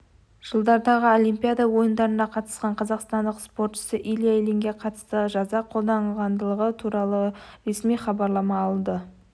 жылдардағы олимпиада ойындарына қатысқан қазақстандық спортшы илья ильинге қатысты жаза қолданылғандығы туралы ресми хабарлама алды